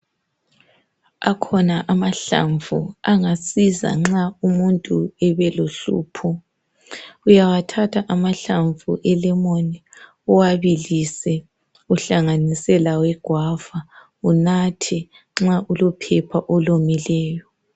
Akhona amahlamvu angasiza nxa umuntu ebelohlupho uyawathatha mahlamvu elemoni uwabilise uhlanganise lawegwava unathe nxa ulophepha olomileyo.